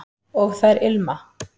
og þær ilma